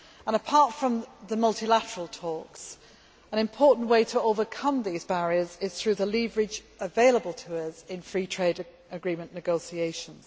Apart from the multilateral talks, an important way to overcome these barriers is through the leverage available to us in free trade agreement negotiations.